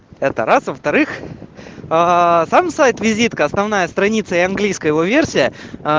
это раз во-вторых аа сам сайт-визитка основная страница и английская его версия а